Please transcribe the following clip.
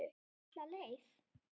Alla leið.